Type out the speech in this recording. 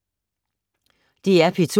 DR P2